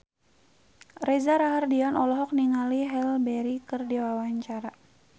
Reza Rahardian olohok ningali Halle Berry keur diwawancara